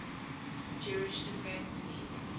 jewish defense league